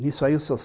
Nisso aí, o Sr.